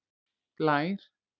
Blær